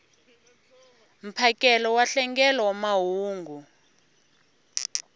mphakelo wa nhlengelo wa mahungu